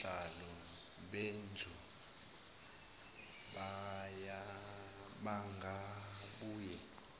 osihlalo bendlu bangabuye